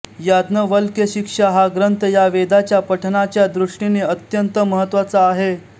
याज्ञवल्क्यशिक्षा हा ग्रंथ या वेदाच्या पठणाच्या दृष्टीने अत्यंत महत्त्वाचा आहे